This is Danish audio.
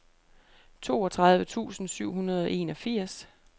toogtredive tusind syv hundrede og enogfirs